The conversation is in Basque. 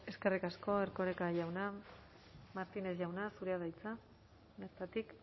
eskerrik asko erkoreka jauna martínez jauna zurea da hitza bertatik